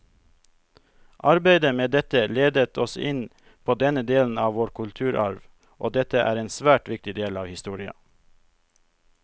Arbeidet med dette ledet oss inn på denne delen av vår kulturarv, og dette er en svært viktig del av historia.